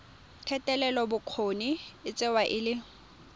thetelelobokgoni e tsewa e le